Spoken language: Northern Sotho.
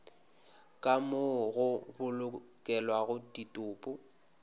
ka moo go bolokelwago ditopo